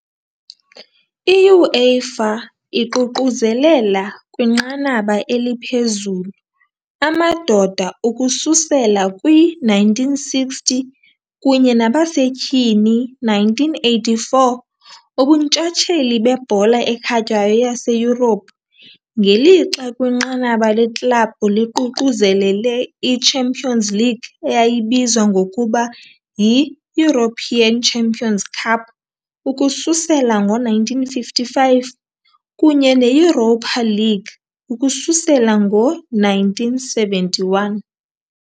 I-UEFA iququzelela, kwinqanaba eliphezulu, amadoda, ukususela kwi-1960, kunye nabasetyhini, 1984, ubuntshatsheli bebhola ekhatywayo yaseYurophu, ngelixa kwinqanaba leklabhu liququzelele i- Champions League, eyayibizwa ngokuba yi-European Champions 'Cup, ukususela ngo-1955, kunye ne- Europa League ukususela ngo-1971. .